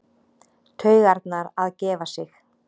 Taugarnar að gefa sig.